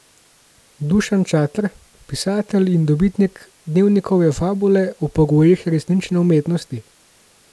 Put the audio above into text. Dušan Čater, pisatelj in dobitnik Dnevnikove fabule, o pogojih resnične umetnosti.